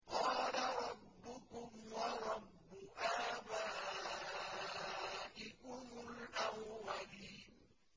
قَالَ رَبُّكُمْ وَرَبُّ آبَائِكُمُ الْأَوَّلِينَ